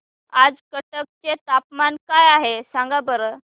आज कटक चे तापमान काय आहे सांगा बरं